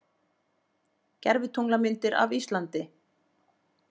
Gervitunglamyndir af Íslandi